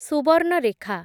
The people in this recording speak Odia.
ସୁବର୍ଣ୍ଣରେଖା